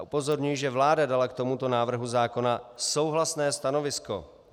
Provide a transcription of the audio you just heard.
A upozorňuji, že vláda dala k tomuto návrhu zákona souhlasné stanovisko.